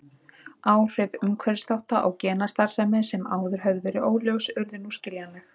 Áhrif umhverfisþátta á genastarfsemi sem áður höfðu verið óljós urðu nú skiljanleg.